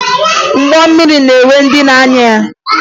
Ụgbọ mmiri na-enwe ndị na-anya ya